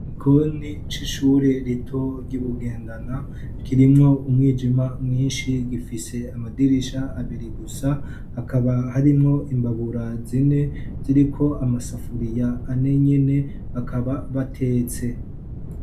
Igkoni c'ishure rito ry'iBugendana kirimwo umwijima mwinshi gifise amadirisha abiri gusa ,hakaba harimwo imbabura zine ziriko amasafuriya ane nyene, bakaba batetse.